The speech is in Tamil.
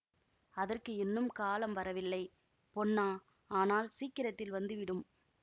அதற்கு இன்னும் காலம் வரவில்லை பொன்னா ஆனால் சீக்கிரத்தில் வந்து விடும்